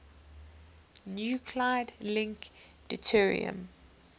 nuclide link deuterium